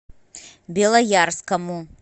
белоярскому